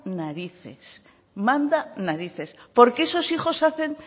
narices manda narices porque esos hijos hacen